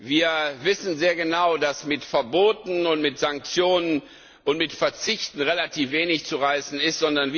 Wir wissen sehr genau, dass mit Verboten, mit Sanktionen und mit Verzichten relativ wenig zu erreichen ist.